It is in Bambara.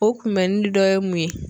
O kunbɛnni dɔ ye mun ye.